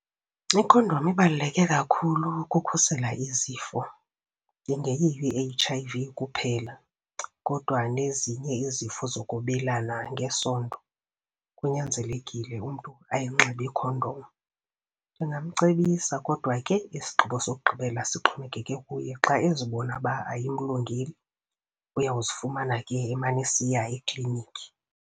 Ikhondom ibaluleke kakhulu ukukhusela izifo. Ingeyiyo i-H_I_V kuphela kodwa nezinye izifo zokwabelana ngesondo, kunyanzelekile umntu ayinxibe ikhondom. Ndingamcebisa kodwa ke isigqibo sokugqibela sixhomekeke kuye. Xa ezibona ukuba ayimlungeli, uyawuzifumana ke emana esiya eklinikhi.